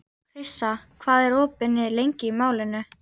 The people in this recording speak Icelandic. Krissa, hvað er opið lengi í Málinu?